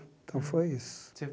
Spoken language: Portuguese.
Então, foi isso. Você